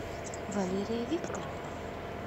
валерия викторовна